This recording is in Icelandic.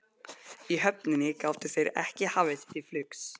Í höfninni gátu þeir ekki hafið sig til flugs.